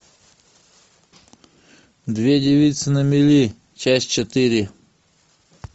две девицы на мели часть четыре